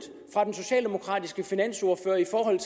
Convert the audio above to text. fra den socialdemokratiske finansordfører